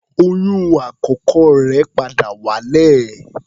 Oyún àkọ́kọ́ rẹ̀ padà wálẹ̀.